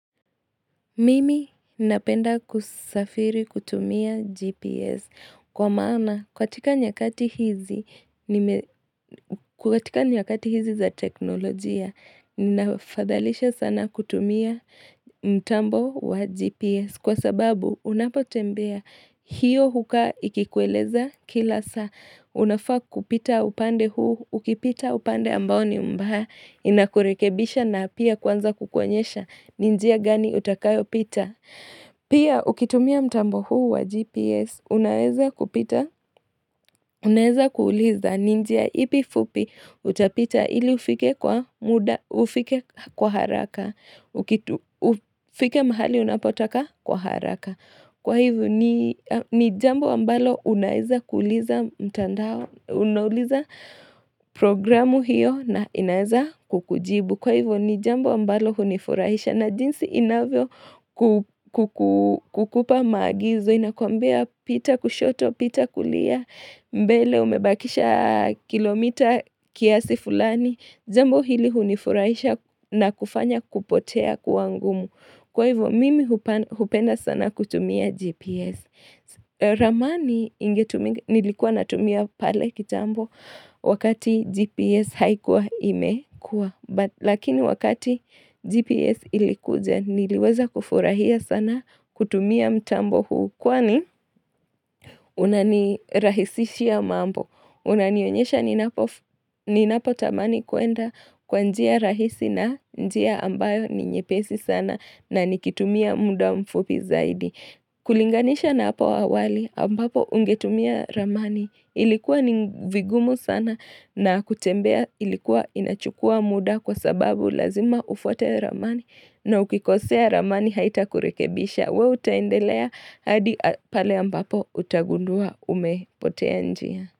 Mimi napenda kusafiri kutumia GPS kwa maana katika nyakati hizi za teknolojia ninafadhalisha sana kutumia mtambo wa GPS kwa sababu unapotembea hiyo hukaa ikikueleza kila saa unafaa kupita upande huu ukipita upande ambao ni mbaya inakurekebisha na pia kuanza kukuonyesha ni njia gani utakayo pita Pia ukitumia mtambo huu wa GPS Unaeza kupita Unaeza kuuliza ni njia ipi fupi Utapita ili ufike kwa muda ufike kwa haraka ufike mahali unapotaka kwa haraka. Kwa hivyo ni jambo ambalo Unaeza kuuliza mtandao Unauliza programu hiyo na inaeza kukujibu Kwa hivyo ni jambo ambalo hunifurahisha na jinsi inavyo kupa maagizo inakwambia pita kushoto pita kulia mbele umebakisha kilomita kiasi fulani jambo hili unifurahisha na kufanya kupotea kua ngumu kwa hivyo mimi hupenda sana kutumia GPS zamani nilikuwa natumia pale kitambo wakati GPS haikuwa imekua Lakini wakati GPS ilikuja niliweza kufurahia sana kutumia mtambo huu kwani unanirahisishia mambo Unanionyesha ninapo tamani kuenda kwa njia rahisi na njia ambayo ninyepesi sana na nikitumia muda mfupi zaidi kulinganisha na hapa awali ambapo ungetumia ramani ilikuwa ni vigumu sana na kutembea ilikuwa inachukua muda kwa sababu lazima ufuate ramani na ukikosea ramani haitakurekebisha wewe utaendelea hadi pale ambapo utagundua umepotea njia.